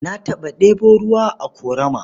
Na taɓa ɗebo ruwa a ƙorama.